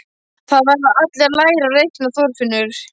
Það verða allir að læra að reikna, Þorfinnur